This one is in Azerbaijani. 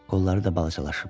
Qolları da balacalaşıb.